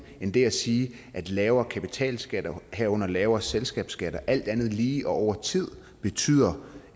end det at sige at lavere kapitalskatter herunder lavere selskabsskatter alt andet lige og over tid betyder